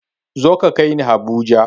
Zo ka kaini habuja!